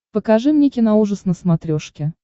покажи мне киноужас на смотрешке